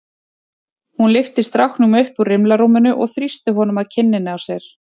Hún lyfti stráknum upp úr rimlarúminu og þrýsti honum að kinninni á sér.